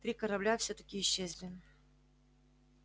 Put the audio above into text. три корабля всё-таки исчезли